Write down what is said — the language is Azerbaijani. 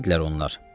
Kim idilər onlar?